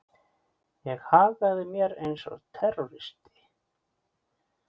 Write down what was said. Ég hagaði mér eins og terroristi.